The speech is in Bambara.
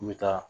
N bɛ taa